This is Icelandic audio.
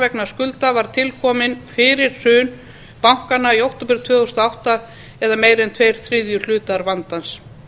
vegna skulda var til komið fyrir hrun bankanna í október tvö þúsund og átta það er meira en tveir þriðju hlutar vandans